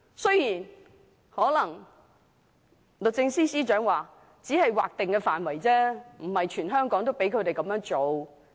雖然律政司司長可能會說，他們只能在劃定範圍內，而非全香港這樣做。